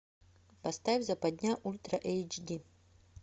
поставь западня ультра эйч ди